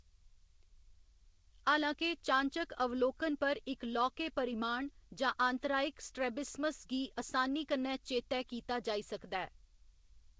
हालां के, चाह्‌नचक्क अवलोकन पर इक लौह्‌‌‌के परिमाण जां आंतरायिक स्ट्रैबिस्मस गी असानी कन्नै चेतै कीता जाई सकदा ऐ।